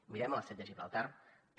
mirem a l’estret de gibraltar també